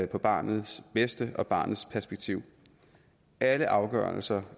barnets bedste og barnets perspektiv alle afgørelser